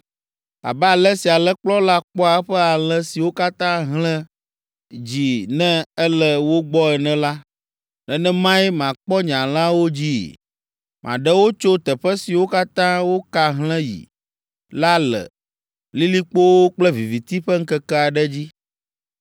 Abe ale si alẽkplɔla kpɔa eƒe alẽ siwo ka hlẽ dzi ne ele wo gbɔ ene la, nenemae makpɔ nye alẽawo dzii. Maɖe wo tso teƒe siwo katã woka hlẽ yi la le lilikpowo kple viviti ƒe ŋkeke aɖe dzi.